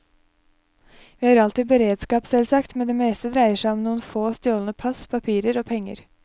Vi har alltid beredskap, selvsagt, men det meste dreier seg om noen få, stjålne pass, papirer og penger.